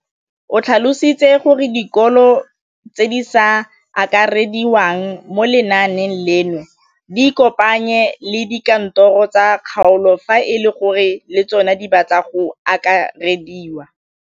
O tlhalositse gore dikolo tse di sa akarediwang mo lenaaneng leno di ikopanye le dikantoro tsa kgaolo fa e le gore le tsona di batla go akarediwa.